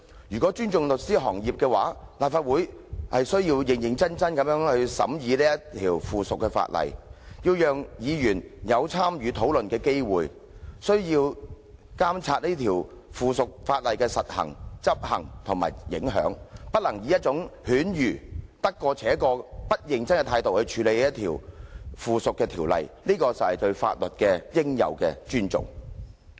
如果尊重律師行業，立法會便須認真審議有關附屬法例，讓議員有參與討論的機會，並須監察該附屬法例的實施和影響，而不能以犬儒、得過且過、不認真的態度來處理該附屬法例，這才是對法律的應有尊重。